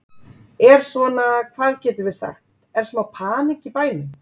Er svona, hvað getum við sagt, er smá panikk í bænum?